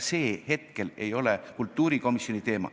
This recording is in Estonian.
See ei ole hetkel kultuurikomisjoni teema.